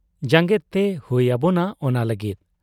ᱡᱟᱝᱜᱮᱜᱛᱮ ᱦᱩᱭ ᱟᱵᱚᱱᱟ ᱚᱱᱟ ᱞᱟᱹᱜᱤᱫ ᱾